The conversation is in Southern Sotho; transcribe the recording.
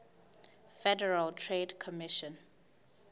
federal trade commission